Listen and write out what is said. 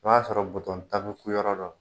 O b'a sɔrɔ buton tan bɛ ku yɔrɔ dɔ la.